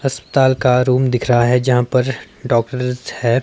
अस्पताल का रूम दिख रहा है जहां पर डॉक्टर है।